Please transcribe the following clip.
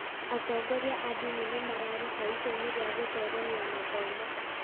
Atongoria a ndini nĩ mararuta itemi rĩa gũtheremia mathomo.